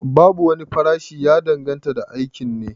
Babu wani tsayayyen farashi, ya danganta da aikin ne